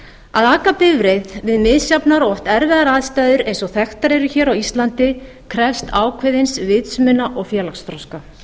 aka bifreið við misjafnar og oft erfiðar aðstæður eins og þekktar eru hér á íslandi krefst ákveðins vitsmuna og félagsþroska